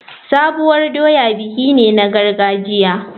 Sabuwar doya biki ne na gargajiya.